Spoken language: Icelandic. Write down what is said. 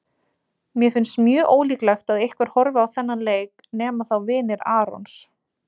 Mér finnst mjög ólíklegt að einhver horfi á þennan leik nema þá vinir Arons.